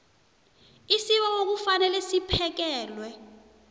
isibawo kufanele siphekelwe